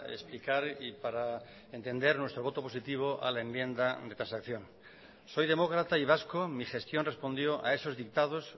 explicar y para entender nuestro voto positivo a la enmienda de transacción soy demócrata y vasco mi gestión respondió a esos dictados